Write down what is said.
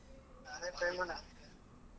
ಅದೇ try ಮಾಡಣ.